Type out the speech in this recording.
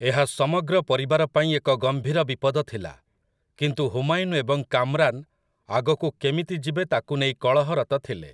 ଏହା ସମଗ୍ର ପରିବାରପାଇଁ ଏକ ଗମ୍ଭୀର ବିପଦ ଥିଲା, କିନ୍ତୁ ହୁମାୟୁନ୍ ଏବଂ କାମ୍‌ରାନ୍‌ ଆଗକୁ କେମିତି ଯିବେ ତାକୁ ନେଇ କଳହରତ ଥିଲେ ।